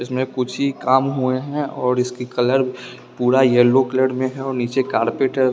इसमें कुछ ही काम हुए हैं और इसकी कलर पूरा येलो कलर में है नीचे कार्पेट है।